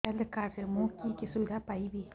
health card ରେ ମୁଁ କି କି ସୁବିଧା ପାଇବି